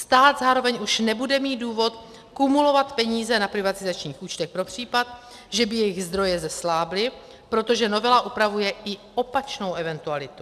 Stát zároveň už nebude mít důvod kumulovat peníze na privatizačních účtech pro případ, že by jejich zdroje zeslábly, protože novela upravuje i opačnou eventualitu.